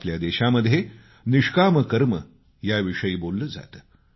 आपल्या देशामध्ये निष्काम कर्म याविषयी बोललं जातं